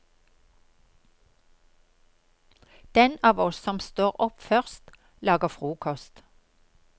Den av oss som står opp først, lager frokost.